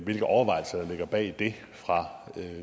hvilke overvejelser der ligger bag det fra